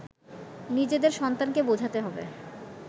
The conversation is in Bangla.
নিজেদের সন্তানকে বোঝাতে হবে